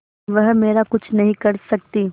वह मेरा कुछ नहीं कर सकती